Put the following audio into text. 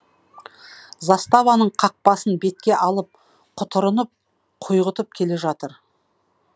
заставаның қақпасын бетке алып құтырынып құйғытып келе жатыр